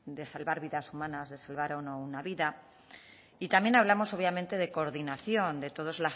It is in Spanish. de salvar vidas humanas de salvar o no una vida y también hablamos obviamente de coordinación de todos